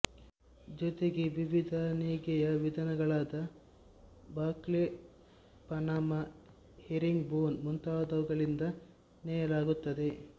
ಜೊತೆಗೆ ವಿವಿಧ ನೇಯ್ಗೆಯ ವಿಧಾನಗಳಾದ ಬೌಕ್ಲೆ ಪನಾಮ ಹೆರ್ರಿಂಗ್ ಬೋನ್ ಮುಂತಾದವುಗಳಿಂದ ನೇಯಲಾಗುತ್ತದೆ